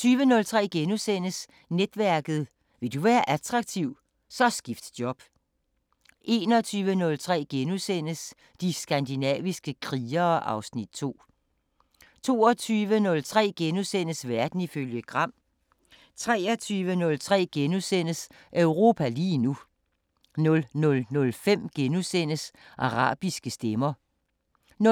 20:03: Netværket: Vil du være attraktiv, så skift job * 21:03: De skandinaviske krigere (Afs. 2)* 22:03: Verden ifølge Gram * 23:03: Europa lige nu * 00:05: Arabiske Stemmer * 00:32: